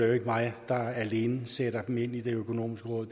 jo ikke mig der alene sætter nogen ind i det økonomiske råd